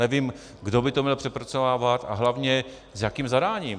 Nevím, kdo by to měl přepracovávat - a hlavně s jakým zadáním?